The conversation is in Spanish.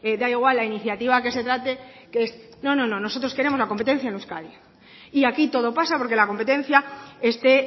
da igual la iniciativa que se trate que es no no no nosotros queremos la competencia en euskadi y aquí todo pasa porque la competencia esté